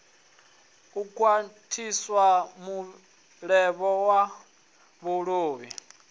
u khwathisa mulevho wa vhuluvha